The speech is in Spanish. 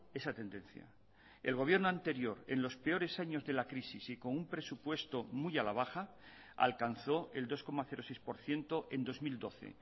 esa tendencia el gobierno anterior en los peores años de la crisis y con un presupuesto muy a la baja alcanzó el dos coma seis por ciento en dos mil doce